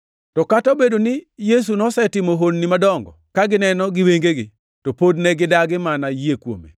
To kata obedo ni Yesu nosetimo honnigo duto ka gineno gi wengegi, to pod ne gidagi mana yie kuome.